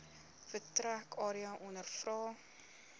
vertrek area ondervra